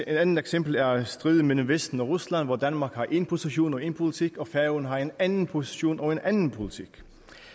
andet eksempel er er striden mellem vesten og rusland hvor danmark har én position og én politik og færøerne har en anden position og en anden politik